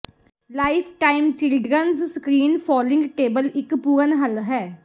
lifetime children's screen folding table ਇੱਕ ਪੂਰਨ ਹੱਲ ਹੈ